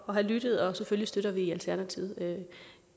have lyttet og selvfølgelig støtter vi i alternativet